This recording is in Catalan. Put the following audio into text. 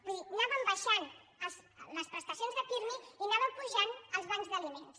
vull dir anaven baixant les prestacions de pirmi i anaven pujant els bancs d’aliments